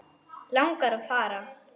Langar að fara.